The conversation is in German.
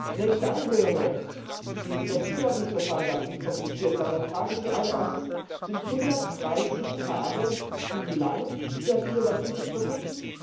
Und wenn ich dann höre, das Zulassungsverfahren darf nicht kompliziert sein, dann frage ich Sie allen Ernstes, sind 130 Tage zu lang für ein innovatives Produkt?